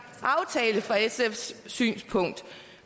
aftale fra sfs synspunkt